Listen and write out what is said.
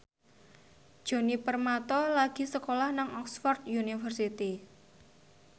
Djoni Permato lagi sekolah nang Oxford university